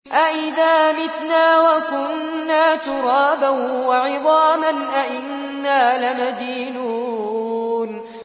أَإِذَا مِتْنَا وَكُنَّا تُرَابًا وَعِظَامًا أَإِنَّا لَمَدِينُونَ